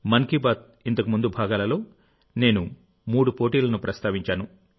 మన్ కీ బాత్ ఇంతకుముందు భాగాలలో నేను మూడు పోటీలను ప్రస్తావించాను